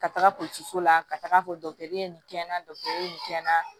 Ka taga so la ka taga nin kɛ na dɔgɔtɔrɔ in kɛ na